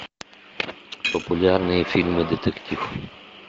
популярные фильмы детектив